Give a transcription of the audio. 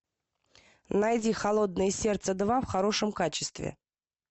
найди холодное сердце два в хорошем качестве